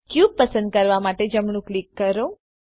cube પસંદ કરવા માટે જમણું ક્લિક કરો